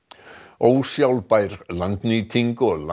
ósjálfbær landnýting og